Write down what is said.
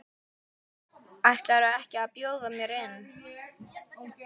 Ætlarðu ekki að bjóða mér inn?